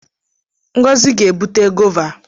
Ngozi ga-ebute gova.